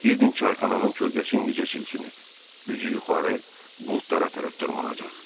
Girdin çayxananın kölgəsi indicə silkinib, üzü yuxarı buludlara tərəf dırmanacaq.